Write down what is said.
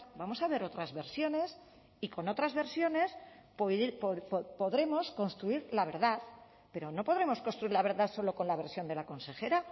vamos a ver otras versiones y con otras versiones podremos construir la verdad pero no podremos construir la verdad solo con la versión de la consejera